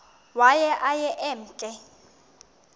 waye aye emke